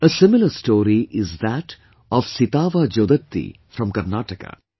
A similar story is that of Sitavaa Jodatti from Karnataka